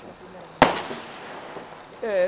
sua primeira namorada? É...